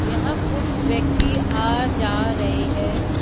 यहां कुछ व्यक्ति आ जा रहे है।